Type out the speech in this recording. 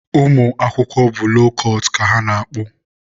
ụmụ akwụkwọ bụ loo kụtụ ka ha na-akpụ.